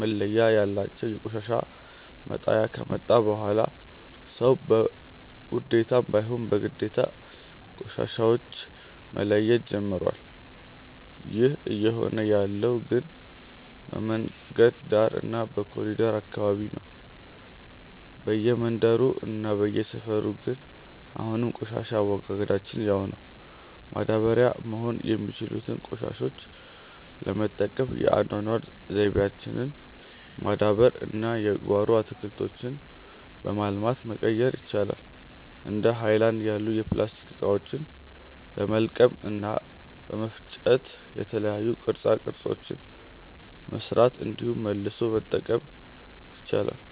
መለያ ያላቸው የቆሻሻ መጣያ ከመጣ በኋላ ሰዉ በውዴታም ባይሆን በግዴታ ቆሻሻዎች መለየት ጀምሮዋል። ይህ እየሆነ ያለው ግን በመንገድ ዳር እና በኮሪደሩ አካባቢ ነው። በየመንደሩ እና በየሰፈሩ ግን አሁንም የቆሻሻ አወጋገዳችን ያው ነው። ማዳበሪያ መሆን የሚችሉትን ቆሻሾች ለመጠቀም የአኗኗር ዘይቤያችንን ማዳበር እና የጓሮ አትክልቶችን በማልማት መቀየር ይቻላል። እንደ ሀይለናድ ያሉ የፕላስቲክ እቃዎችን በመልቀም እና በመፍጨ የተለያዩ ቅርፃ ቅርፆችን መስራት እንዲሁም መልሶ መጠቀም ይቻላል።